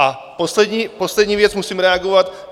A poslední věc, musím reagovat.